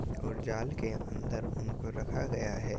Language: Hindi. और जाल के अन्दर उनको रखा गया है।